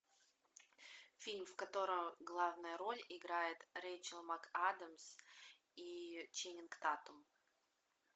фильм в котором главную роль играет рэйчел макадамс и ченнинг татум